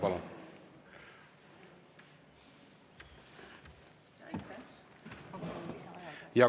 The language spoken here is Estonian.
Palun!